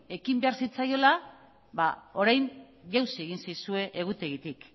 ekin behar zitzaiola ba orain jauzi egin zaizue egutegitik